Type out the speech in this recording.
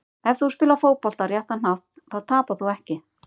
Ef þú spilar fótbolta á réttan hátt þá tapar þú ekki.